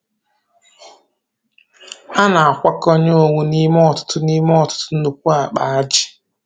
A na-akwakọnye owu n'ime ọtụtụ n'ime ọtụtụ nnukwu ákpà ájị̀.